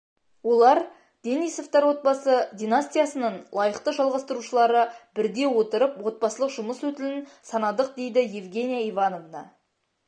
олар денисовтар отбасы династиясының лайықты жалғастырушылары бірде отырып отбасылық жұмыс өтілін санадық дейді евгения ивановна